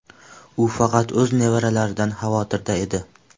U faqat o‘z nevaralaridan xavotirda edi.